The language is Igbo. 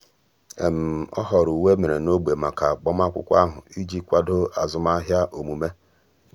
ọ́ họ̀ọ̀rọ̀ uwe è mèrè n’ógbè màkà ágbámàkwụ́kwọ́ ahụ́ iji kwàdò ázụ́màhị́à ọ́mụ́mé.